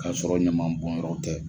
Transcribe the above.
Ka sɔrɔ ɲaman bɔnyɔrɔ tɛ.